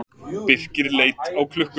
Birkir leit á klukkuna.